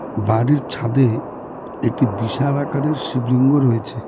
বাড়ির ছাদে একটি বিশাল আকারের শিবলিঙ্গ রয়েছে।